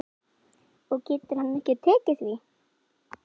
Og getur hann ekki tekið því?